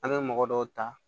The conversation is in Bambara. An bɛ mɔgɔ dɔw ta